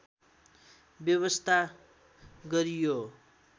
व्यवस्था गरी यो